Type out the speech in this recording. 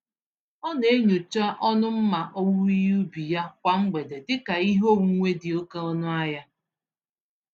Ọ na-enyocha ọnụ mma owuwe ihe ubi ya kwa mgbede dị ka ihe onwunwe dị oke ọnụ ahịa.